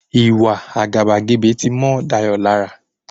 Ìwa àgàbàgebè ti mọ́ Dayọ̀ lára.